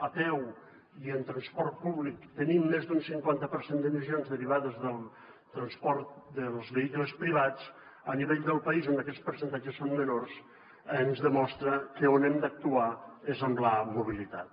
a peu i en transport públic tenim més d’un cinquanta per cent d’emissions derivades del transport dels vehicles privats a nivell del país on aquests percentatges són menors ens demostra que on hem d’actuar és en la mobilitat